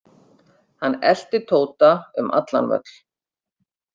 Hann elti Tóta um allan völl.